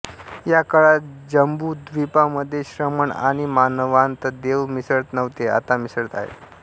या काळात जंबुद्वीपा मधे श्रमण आणि मानवांत देव मिसळत नव्हते आता मिसळत आहेत